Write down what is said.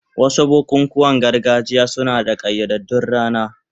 Wasu bukukuwan gargajiya suna da ƙayyadaddun rana.